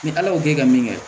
Ni ala y'o kɛ ka min kɛ